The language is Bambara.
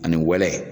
Ani wɛlɛ